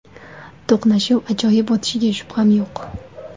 To‘qnashuv ajoyib o‘tishiga shubham yo‘q.